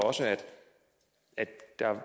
der var